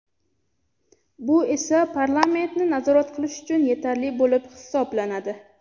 Bu esa parlamentni nazorat qilish uchun yetarli bo‘lib hisoblanadi.